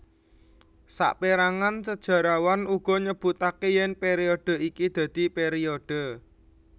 Saperangan sejarawan uga nyebutake yen periode iki dadi periode